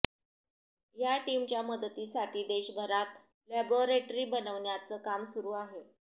या टीमच्या मदतीसाठी देशभरात लॅबोरेट्री बनवण्याचं काम सुरू आहे